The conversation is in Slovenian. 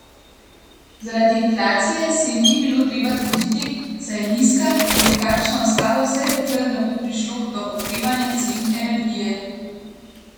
Zaradi inflacije se jim ni bilo treba truditi, saj je nizka in bo takšna ostala, vse dokler ne bo prišlo do okrevanja cen energije.